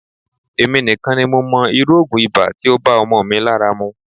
Emi nikan ni mo mo iru ogun iba ti o ba omo mi lara mu.